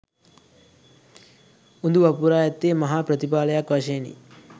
උඳු වපුරා ඇත්තේ මහා ප්‍රතිඵලයක් වශයෙනි.